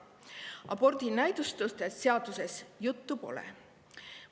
Abordi näidustustest seaduses juttu pole.